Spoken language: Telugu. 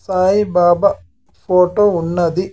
సాయి బాబా ఫోటో ఉన్నది.